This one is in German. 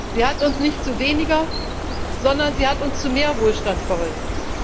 Sie hat uns nicht zu weniger, sondern sie hat uns zu mehr Wohlstand verholfen.